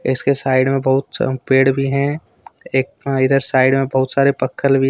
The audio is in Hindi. इसके साइड में बहुत सब पेड़ भी हैं एक अ इधर साइड में बहुत सारे पख्खल भी--